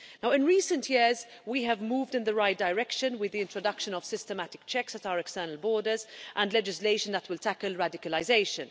In recent years, we have moved in the right direction with the introduction of systematic checks at our external borders and legislation that will tackle radicalisation.